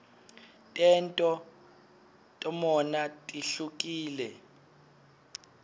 tento tmutona tihwkile